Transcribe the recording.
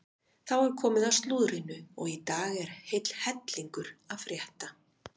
Þá er komið að slúðrinu og í dag er heill hellingur að frétta.